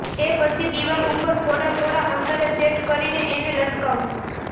એ પછી દીવાલ ઉપર થોડા થોડા અંતરે સેટ કરીને એને લટકાવો